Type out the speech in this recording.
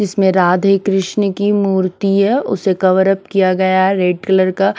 इसमें राधे कृष्ण की मूर्ति है उसे कवरप किया गया है। रेड कलर का--